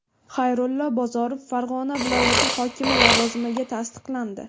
Xayrullo Bozorov Farg‘ona viloyati hokimi lavozimiga tasdiqlandi.